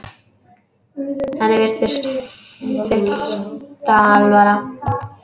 Henni virðist fyllsta alvara.